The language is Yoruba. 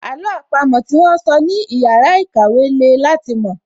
Àló àpamọ́ tí wón sọ ní ìyára ìkàwẹ́ le láti mọ̀